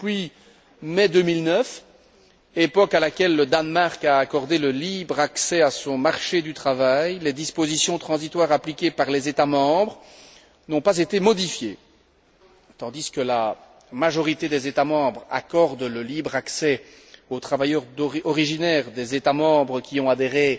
Depuis mai 2009, époque à laquelle le Danemark a accordé le libre accès à son marché du travail, les dispositions transitoires appliquées par les États membres n'ont pas été modifiées et tandis que la majorité des États membres accorde le libre accès aux travailleurs originaires des États membres qui ont adhéré